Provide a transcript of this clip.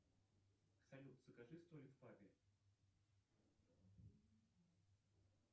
салют закажи столик в пабе